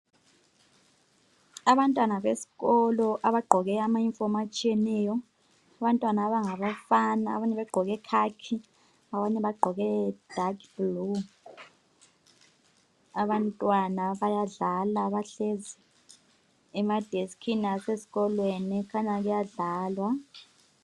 Abantwana besikolo abagqoke amayunifomu atshiyeneyo. Abantwana abangabafana abanye bagqoke khakhi, abanye bagqoke dark blue. Abantwana bayadlala, bahlezi emadeskini asezikolweni kukhanya kuyadlalwa.